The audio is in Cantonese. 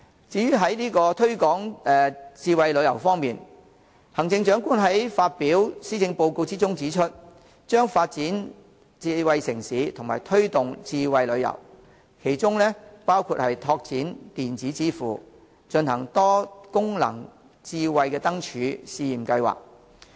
在推廣智慧旅遊方面，行政長官在施政報告中指出，將發展智慧城市及推動智慧旅遊，其中包括拓展電子支付，進行"多功能智慧燈柱"試驗計劃。